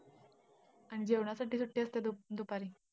आणि जेवणासाठी सुट्टी असते दु~ दुपारी?